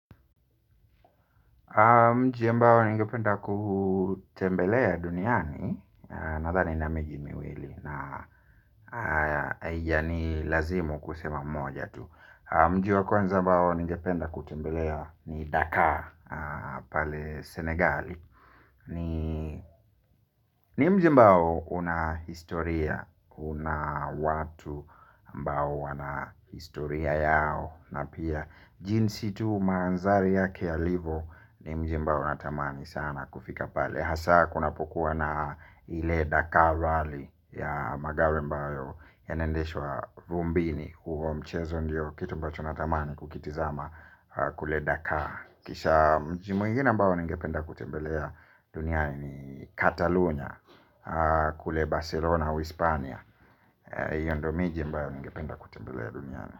Mji ambao ningependa kutembelea duniani nadhani nina miji miwili na yani lazimu kusema moja tu. Mji wa kwanza ambao ningependa kutembelea ni Dakar pale Senegali. Ni mji ambao una historia, una watu ambao wana historia yao. Na pia jinsi tu mandhari yake yalivyo ni mji ambao natamani sana kufika pale. Hasa kunapokuwa na ile Dakar Rally ya magari ambayo yanaendeshwa vumbini huho mchezo ndio kitu ambacho natamani kukitizama kule Dakar. Kisha mji mwingine ambao ningependa kutembelea duniani Katalunya. Kule Barcelona uhispania hiyo ndiyo miji ambayo ningependa kutembelea duniani.